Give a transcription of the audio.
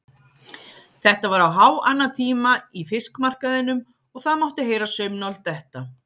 Þetta var á háannatíma í fiskmarkaðinum og það mátti heyra saumnál detta.